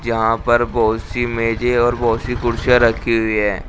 यहां पर बहोत सी मेजे और बहोत सी कुर्सियां रखी हुई है।